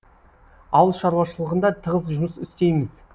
ауыл шаруашылығында тығыз жұмыс істейміз